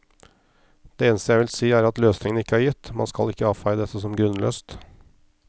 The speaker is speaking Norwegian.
Det eneste jeg vil si er at løsningen ikke er gitt, man skal ikke avfeie dette som grunnløst.